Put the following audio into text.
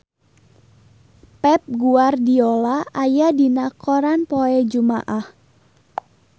Pep Guardiola aya dina koran poe Jumaah